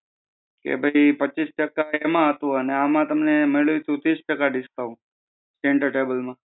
કે ભઈ પચીસ ટકા એમાં હતું, અને આમાં તમને મળેલ સુ તીસ ટકા discount center table માં